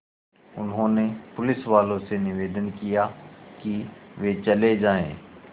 उन्होंने पुलिसवालों से निवेदन किया कि वे चले जाएँ